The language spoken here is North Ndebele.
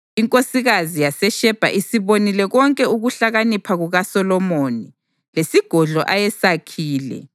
Inkosikazi yaseShebha isibonile konke ukuhlakanipha kukaSolomoni, lesigodlo ayesakhile,